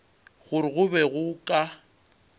gore go be go ka